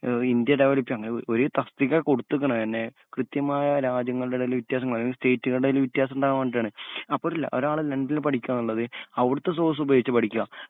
ഏഹ് വ് India developed ആണ് അങ്ങനെ ഒ ഒര് തസ്തിക കൊടുത്തതണ് എന്നെ കൃത്യമായ രാജ്യങ്ങൾടെടേല് വ്യത്യാസംന്ന് പറയും അതായത് സ്റ്റേറ്റുകൾടേല് വ്യത്യാസണ്ടാവാൻ വേണ്ടിട്ടാണ് അപ്പൊരല്ല ഒരാള് ലണ്ടനില് പഠിക്കാനിള്ളത് അവിടുത്തെ സോഴ്സ്സുപയോഗിച്ചുപഠിക്കാം.